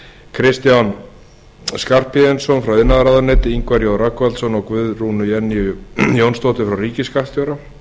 kristján skarphéðinsson frá iðnaðarráðuneyti ingvar j rögnvaldsson og guðrúnu jennýju jónsdóttur frá ríkisskattstjóra